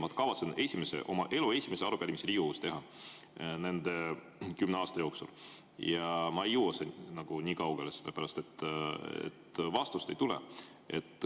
Ma kavatsen teha oma elu esimese arupärimise siin Riigikogus selle kümne aasta jooksul ja ma ei jõua nii kaugele, sellepärast et vastust ei tule.